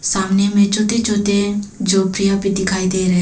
सामने में छोटे छोटे झोपड़ियां भी दिखाई दे रहे हैं।